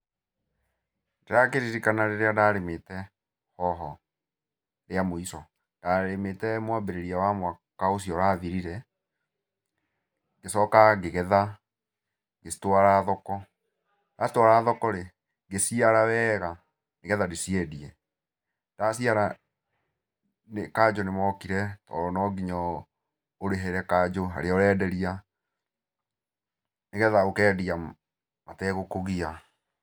Ndĩrakĩririkana rĩrĩa ndarĩmĩte hoho rĩa mũico. Ndarĩmĩte mwambĩrĩrio wa mwaka ũcio ũrathirire, ngĩcoka ngĩgetha, ngĩcitwara thoko. Ndacitwara thoko-rĩ ngĩciara weega, nĩgetha ndĩciendie. Ndaciara kanjũ nĩmokire, tondũ no nginya ũ ũrĩhĩre kanjũ, harĩa ũrenderia, nĩgetha ũkendia mategũkũgia.